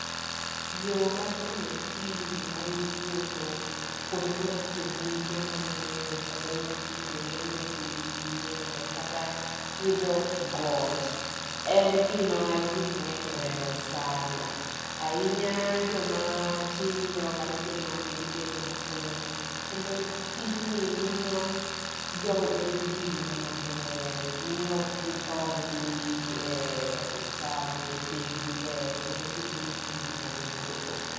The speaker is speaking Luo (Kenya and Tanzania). Yo mar timo tizi mar wuotho kuonde mantie bunge mang'eny, kata wuotho kuonde mantie gi yiende kata idho got. En gi ma ji mag'eny ohero sana. Ahinya jo ma tindo kata jo mani gi del mapek. Kendo tijni miyo jogo bed gi ngima maber. Miyo okgithor dhi e osuptal nikech dendgi ber nikech gitimo tizi mar wuotho